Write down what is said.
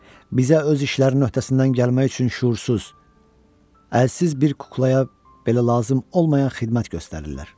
Bizə öz işlərinin öhdəsindən gəlmək üçün şüursuz, əlsiz bir kuklaya belə lazım olmayan xidmət göstərirlər.